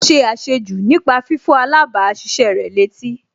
Ó ṣe àṣejù nípa fífọ̀ alábàáṣiṣé rẹ̀ létí